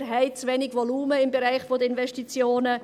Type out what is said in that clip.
Wir haben zu wenig Volumen im Bereich der Investitionen.